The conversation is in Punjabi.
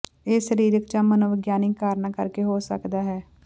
ਇਹ ਸਰੀਰਕ ਜਾਂ ਮਨੋਵਿਗਿਆਨਿਕ ਕਾਰਨਾਂ ਕਰਕੇ ਹੋ ਸਕਦੇ ਹਨ